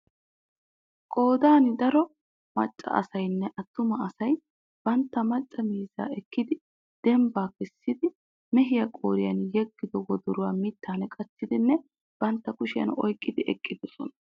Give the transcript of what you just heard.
Qoodan daro maccaasaynne attuma asay bantta macca miizzaa ekkidi dembbaa kessidi mehiyaa qoriyan yegido wodoruwa mittan qachchidinne bantta kushshiyan oykkidi eqqidosona.